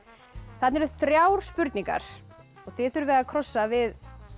þarna eru þrjár spurningar og þið þurfið að krossa við